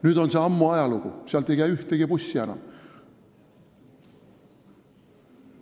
Nüüd on see ammu ajalugu, sealt ei käi ühtegi bussi enam.